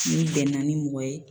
N'i bɛnna ni mɔgɔ ye